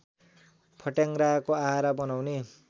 फट्याङ्ग्राको आहार बनाउने